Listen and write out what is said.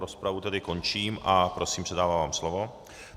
Rozpravu tedy končím a prosím, předávám vám slovo.